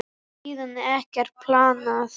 Síðan er ekkert planað.